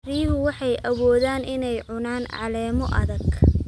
Riyuhu waxay awoodaan inay cunaan caleemo adag.